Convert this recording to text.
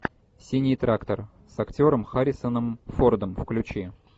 синий трактор с актером харрисоном фордом включи